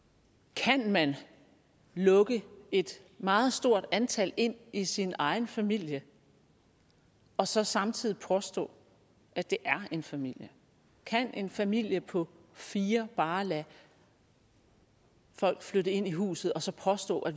kan man lukke et meget stort antal ind i sin egen familie og så samtidig påstå at det er en familie kan en familie på fire bare lade folk flytte ind i huset og så påstå at